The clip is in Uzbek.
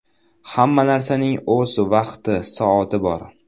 Hamma narsaning o‘z vaqti, soati bor.